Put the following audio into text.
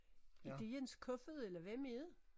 Er det Jens Kofoed eller hvem er det?